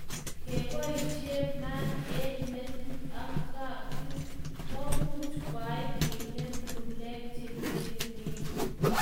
Kepoishe maat eng metit ak katit komuch kwai kinem ng'ulek cheng'ering'en